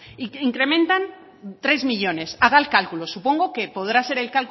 incrementan tres millónes haga el cálculo supongo que podrá hacer